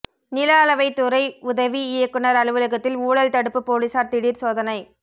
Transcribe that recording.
நில அளவைத் துறை உதவி இயக்குநா் அலுவலகத்தில் ஊழல் தடுப்பு போலீஸாா் திடீா் சோதனை